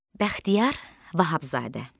Bəxtiyar Vahabzadə.